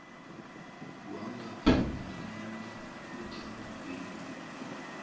wangaphambilini uthabo mbeki